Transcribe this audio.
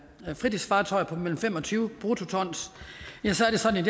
fritidsfartøjer på mellem fem og tyve bruttoton